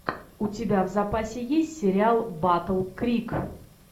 у тебя в запасе есть сериал батл крик